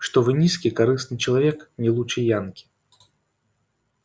что вы низкий корыстный человек не лучше янки